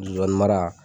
Zonzani mara